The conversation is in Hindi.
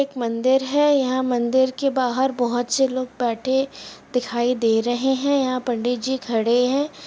एक मंदिर है | यहाँ मंदिर के बाहर बहोत से लोग बैठे दिखाई दे रहे हैं | यहाँ पंडित जी खड़े हैं।